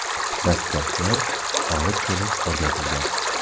Dastgohlar olib kelib o‘rnatilgan.